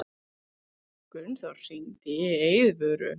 Gunnþór, hringdu í Eiðvöru.